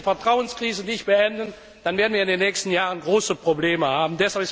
Wenn wir diese Vertrauenskrise nicht beenden, dann werden wir in den nächsten Jahren große Probleme haben.